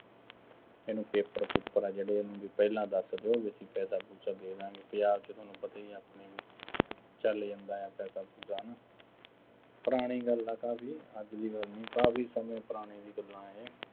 ਇਹਨੂੰ paper ਪੂਪਰ ਆ ਜਿਹੜੇ ਇਹਨੂੰ ਬਈ ਪਹਿਲਾਂ ਦੱਸ ਦਿਉ, ਬਈ ਅਸੀਂ ਪੈਸਾ-ਪੂਸਾ ਦੇ ਦਾ ਗੇਂ, ਪੰਜਾਬ ਚ ਤੁਹਾਨੂੰ ਪਤਾ ਹੀ ਹੈ ਆਪਣੇ ਚੱਲ ਜਾਂਦਾ ਹੈ, ਪੈਸਾ-ਪੂਸਾ, ਹੈ ਨਾ, ਪੁਰਾਣੀ ਗੱਲ ਆ ਕਾਫੀ, ਅੱਜ ਦੀ ਗੱਲ ਨਹੀਂ, ਕਾਫੀ ਸਮੇਂ ਪੁਰਾਣੀਆਂ ਗੱਲਾਂ ਇਹ,